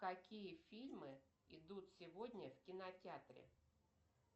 какие фильмы идут сегодня в кинотеатре